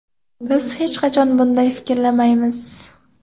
Biz hech qachon bunday fikrlamaymiz.